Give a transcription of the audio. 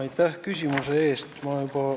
Aitäh küsimuse eest!